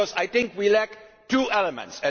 Because I think we lack two elements.